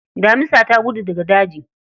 Damisa ta gudu daga daji.